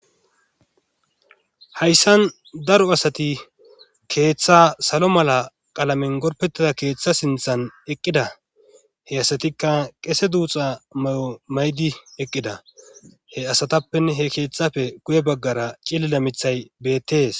Hayssan daro asati keeththa salo mala qalamen gorpetida keeththa sinthan eqqida he asatikka qese duuxa may'o maydi eqqida he asatappe he keeththafe guye baggara cillida mithay bettees.